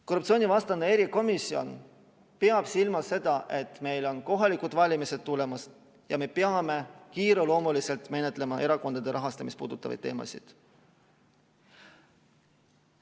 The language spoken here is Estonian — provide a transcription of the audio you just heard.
Korruptsioonivastane erikomisjon peab silmas seda, et meil on kohalikud valimised tulemas ja me peame kiireloomuliselt menetlema erakondade rahastamist puudutavaid teemasid.